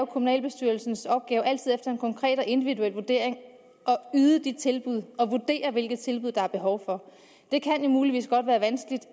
kommunalbestyrelsens opgave efter en konkret og individuel vurdering at yde tilbud og vurdere hvilke tilbud der er behov for det kan muligvis godt være vanskeligt